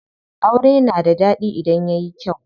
Aure na da ɗaɗi idan yayi kyau.